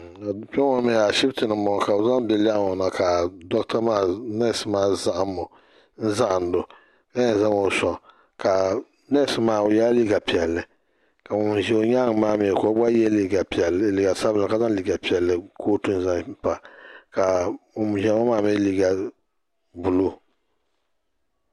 kpeŋɔ ashibitɛni n bo ŋɔ ka bɛ zaŋ be lɛɣ ŋɔ na ka doɣitɛ maa tina zahindo ka yɛ zaŋɔ soŋ kaa nɛsimaa yɛ liga piɛli ka ŋɔ ziyɛ o nyɛŋa maa gba yɛ liga sabinli ka yɛ kuotu zaŋpa ŋu ziʒɛya ŋɔ maa mi yɛ liga bolu o